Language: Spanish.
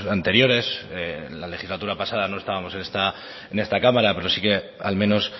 anteriores en la legislatura pasado no estábamos en esta cámara pero sí que al menos